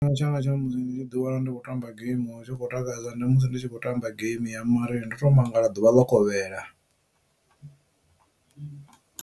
Tshifhinga tsha musi ndi tshi ḓi wana ndi khou tamba geimi hu tshi khou takadza ndi musi ndi tshi khou tamba game ya Mario ndo to mangala ḓuvha ḽo kovhela.